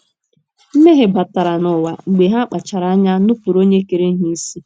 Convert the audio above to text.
Mmehie ‘ batara n’ụwa ’ mgbe ha kpachaara anya nupụrụ Onye kere ha isi.